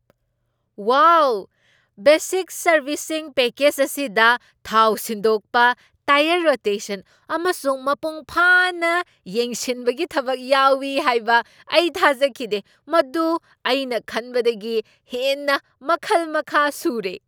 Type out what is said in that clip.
ꯋꯥꯎ, basic ꯁꯔꯕꯤꯁꯤꯡ package ꯑꯁꯤꯗ ꯊꯥꯎ ꯁꯤꯟꯗꯣꯛꯄ, ꯇꯥꯏꯌꯔ ꯔꯣꯇꯦꯁꯟ, ꯑꯃꯁꯨꯡ ꯃꯄꯨꯡꯐꯥꯅ ꯌꯦꯡꯁꯤꯟꯕꯒꯤ ꯊꯕꯛ ꯌꯥꯎꯢ ꯍꯥꯏꯕ ꯑꯩ ꯊꯥꯖꯈꯤꯗꯦ꯫ ꯃꯗꯨ ꯑꯩꯅ ꯈꯟꯕꯗꯒꯤ ꯍꯦꯟꯅ ꯃꯈꯜ ꯃꯈꯥ ꯁꯨꯔꯦ!